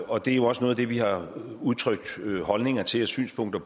og det er også noget af det vi har udtrykt holdninger til og synspunkter